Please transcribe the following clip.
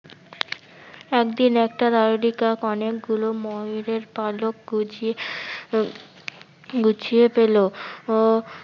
একদিন একটা দাররিকাক অনেকগুলো ময়ূরের পালক গুছিয়ে উম গুছিয়ে পেলো। আহ